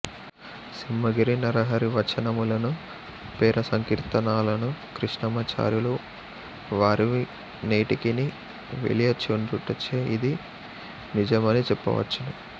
సింహగిరి నరహరివచనము లను పేర సంకీర్తనలు కృష్ణమాచార్యుల వారివి నేటికిని వెలయచుండుటచే నిది నిజమని చెప్పవచ్చును